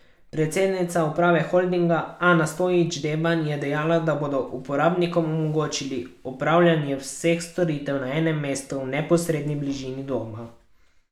Predsednica uprave holdinga Ana Stojić Deban je dejala, da bodo uporabnikom omogočili opravljanje vseh storitev na enemu mestu v neposredni bližini doma.